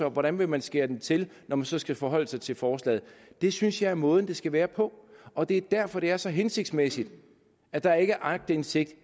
og hvordan man vil skære det til når man så skal forholde sig til forslaget det synes jeg er måden det skal være på og det er derfor det er så hensigtsmæssigt at der ikke er aktindsigt